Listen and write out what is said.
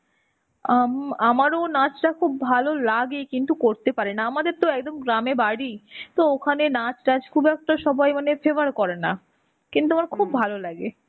আম আমারও নাচটা খুব ভালো লাগে কিন্তু করতে পারিনা. আমাদের তো একদম গ্রামে বাড়ি. তো ওখানে নাচ টাচ খুব একটা সবাই মানে favour করে না. কিন্তু আমার খুব ভালো লাগে.